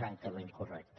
francament correcta